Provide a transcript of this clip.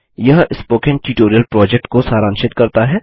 यह spoken tutorial project को सारांशित करता है